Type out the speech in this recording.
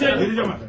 Girəməsin!